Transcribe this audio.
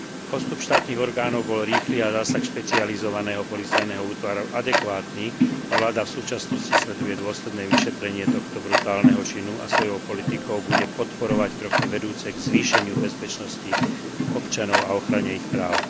Postup štátnych orgánov bol rýchly a zásah špecializovaného policajného útvaru adekvátny a vláda v súčasnosti sleduje dôsledné vyšetrenie tohto brutálneho činu a svojou politikou bude podporovať kroky vedúce k zvýšeniu bezpečnosti občanov a ochrane ich práv.